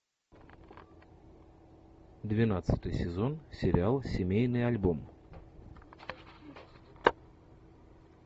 двенадцатый сезон сериал семейный альбом